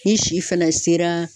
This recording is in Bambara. Ni si fɛnɛ sera